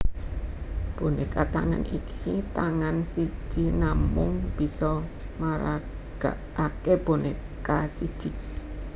Boneka tangan iki tangan siji namung bisa maragakake boneka siji